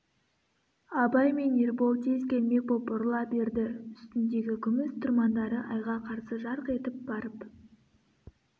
абай мен ербол тез келмек боп бұрыла берді үстіндегі күміс тұрмандары айға қарсы жарқ етіп барып